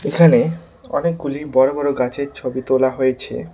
এখানে অনেকগুলি বড় বড় গাছের ছবি তোলা হয়েছে।